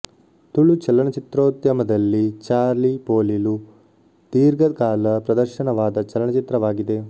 ತುಳು ಚಲನಚಿತ್ರೋದ್ಯಮದಲ್ಲಿ ಚಾಲಿ ಪೊಲಿಲು ದೀರ್ಘ ಕಾಲ ಪ್ರದರ್ಶನವಾದ ಚಲನಚಿತ್ರವಾಗಿದೆ